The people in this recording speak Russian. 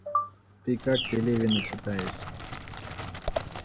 ты как пелевина читаешь